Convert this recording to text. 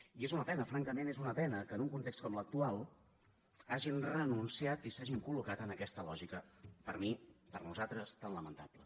i és una pena francament és una pena que en un context com l’actual hagin renunciat i s’hagin col·locat en aquesta lògica per mi per nosaltres tan lamentable